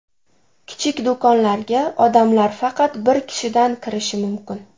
Kichik do‘konlarga odamlar faqat bir kishidan kirishi mumkin.